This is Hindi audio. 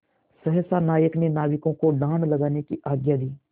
सहसा नायक ने नाविकों को डाँड लगाने की आज्ञा दी